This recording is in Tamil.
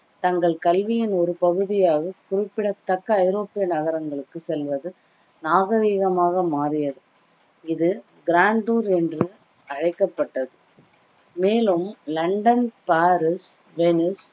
தங்கள் கல்வியின் ஒரு பகுதியாக குறிப்பிடத்தக்க ஐரோப்பிய நகரங்களுக்கு செல்வது நாகரீகமாக மாறியது இது grand tour என்றும் அழைக்கப்பட்டது மேலும் லண்டன், பாரிஸ், வெனிஸ்,